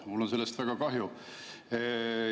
Mul on sellest väga kahju.